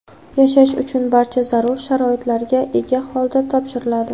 yashash uchun barcha zarur sharoitlarga ega holda topshiriladi.